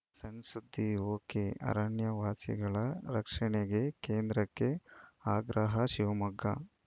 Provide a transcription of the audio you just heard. ಸಣ್‌ಸುದ್ದಿಒಕೆಅರಣ್ಯವಾಸಿಗಳ ರಕ್ಷಣೆಗೆ ಕೇಂದ್ರಕ್ಕೆ ಆಗ್ರಹ ಶಿವಮೊಗ್ಗ